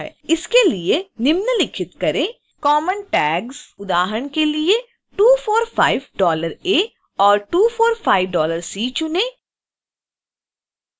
इसके लिए निम्नलिखित करें common tags उदाहरण के लिए 245$a और 245$c चुनें